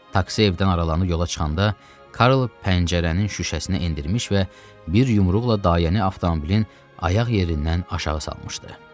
Taksi evdən aralanıb yola çıxanda, Karl pəncərənin şüşəsini endirmiş və bir yumruqla dayəni avtomobilin ayaq yerindən aşağı salmışdı.